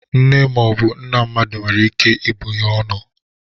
Nne ma ọ bụ nna mmadụ nwere ike ibụ ya ọnụ.